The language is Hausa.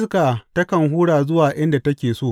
Iska takan hura zuwa inda take so.